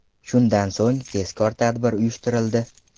Shundan so‘ng tezkor tadbir uyushtirildi.